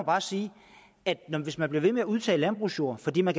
bare sige at hvis man bliver ved med at udtage landbrugsjord fordi man